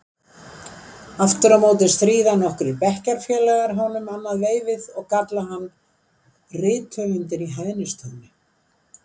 Aftur á móti stríða nokkrir bekkjarfélagar honum annað veifið og kalla hann rithöfundinn í hæðnistóni.